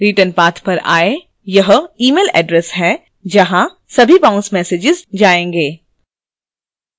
returnpath पर आएँ यह email address है जहाँ सभी बाउंस messages जाएंगे